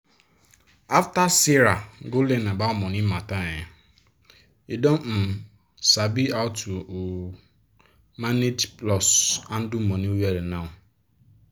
after sarah go learn about money matter um e don um sabi how to um manage plus handle money well now.